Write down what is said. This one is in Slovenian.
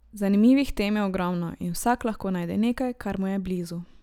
Zanimivih tem je ogromno in vsak lahko najde nekaj, kar mu je blizu.